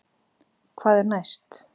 Hvað er næst